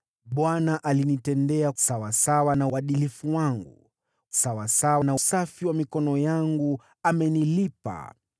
“ Bwana alinitendea sawasawa na uadilifu wangu; sawasawa na usafi wa mikono yangu amenilipa.